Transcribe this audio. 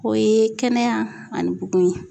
O ye kɛnɛya ani bugun ye